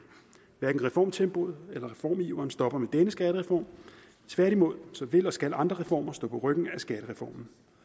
hverken reformtempoet eller reformiveren stopper med denne skattereform tværtimod vil og skal andre reformer stå på ryggen af skattereformen